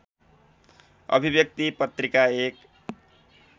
अभिव्यक्ति पत्रिका एक